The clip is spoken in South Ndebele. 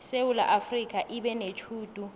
isewula afrika ibenetjhudu